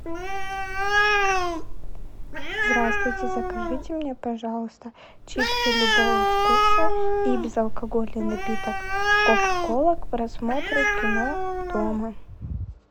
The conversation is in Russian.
здравствуйте закажите мне пожалуйста чипсы любого вкуса и безалкогольный напиток кока кола к просмотру кино дома